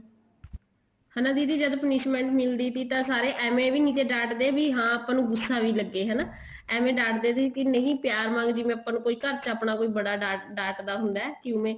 ਹਾਂ ਦੀਦੀ ਜਦ punishment ਮਿਲਦੀ ਸੀ ਤਾਂ ਸਾਰੇ ਏਵੇਂ ਵੀ ਨੀ ਡਾਂਟ ਦੇ ਵੀ ਹਾਂ ਆਪਾਂ ਨੂੰ ਗੁੱਸਾ ਵੀ ਲੱਗੇ ਏਵੇਂ ਡਾਂਟ ਦੇ ਸੀ ਨਹੀਂ ਪਿਆਰ ਨਾਲ ਜਿਵੇਂ ਆਪਾਂ ਘਰ ਚ ਆਪਣਾ ਕੋਈ ਬੜਾ ਡਾਂਟ ਦਾ ਹੁੰਦਾ ਏਵੇਂ